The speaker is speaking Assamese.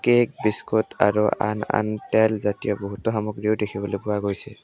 কেক বিস্কুট আৰু আন আন তেল জাতীয় বহুতো সামগ্ৰীও দেখিবলৈ পোৱা গৈছে।